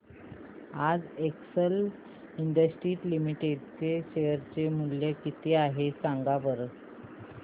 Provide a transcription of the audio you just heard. आज Excel industries limited चे share चे मूल्य किती आहे सांगा बरं